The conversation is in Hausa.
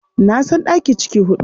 Na san ɗaki ciki huɗu.